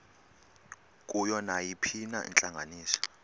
kuyo nayiphina intlanganiso